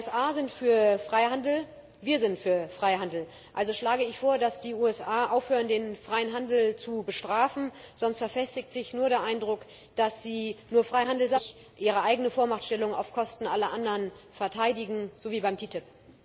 Die USA sind für Freihandel, wir sind für Freihandel, also schlage ich vor, dass die USA aufhören, den freien Handel zu bestrafen, sonst verfestigt sich nur der Eindruck, dass sie nur Freihandel sagen, letztlich aber ihre eigene Vormachtstellung auf Kosten aller anderen verteidigen, so wie beim TTIP.